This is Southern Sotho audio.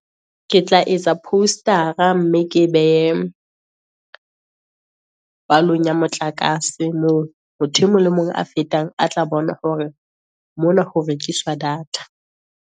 Ke tla etsa post-ara mme ke e behe palong ya motlakase, moo motho e mong le e mong a fetang, a tla bona hore mona ho rekiswa data.